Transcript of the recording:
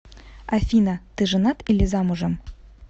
афина ты женат или замужем